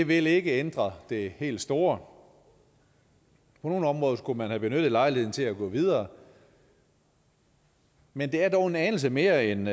vil ikke ændre det helt store på nogle områder skulle man have benyttet lejligheden til at gå videre men det er dog en anelse mere end